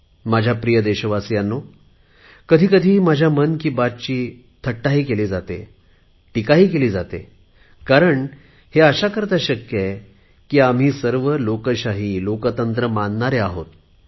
माझ्या प्रिय देशवासीयांनो कधी कधी माझ्या मन की बातची थट्टाही केली जाते टीकाही केली जाते कारण हे अशा करता शक्य आहे की आम्ही सर्व लोकशाही लोकतंत्र मानणारे आहोत